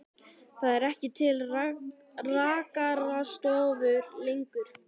Það eru ekki til rakarastofur lengur.